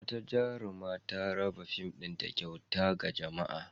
Wata jaruma ta raba fim ɗinta kyauta ga jama'a.